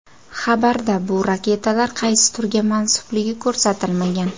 Xabarda bu raketalar qaysi turga mansubligi ko‘rsatilmagan.